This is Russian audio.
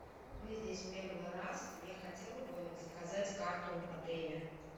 мы здесь первый раз я хотела бы заказать карту отеля